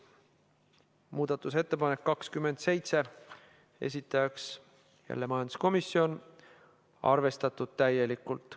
Muudatusettepanek 27, esitajaks jälle majanduskomisjon, arvestatud täielikult.